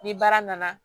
Ni baara nana